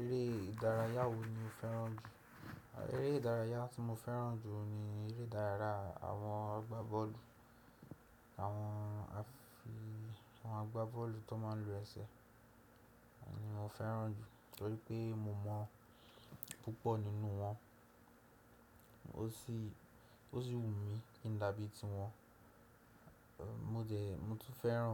Eré ìdárayá wo ni o fẹ́ràn jù? Eré ìdárayá tí mo fẹ́ràn jù ni eré ìdárayá àwọn agbá bọ́ọ̀lù. Àwọn afi, àwọn agbá bọ́ọ̀lù tó má ń lo ẹsẹ̀ ni mo fẹ́ràn jù torí pé mo mọ̀ púpọ̀ nínú wọn. Ó sì, ó sì wù mí kí n dàbí ti wọn. Mo dẹ, mo tún fẹ́ràn